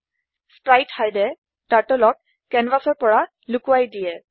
spritehideএ Turtleক কেনভাচৰ পৰা লোকোৱাই দিয়ে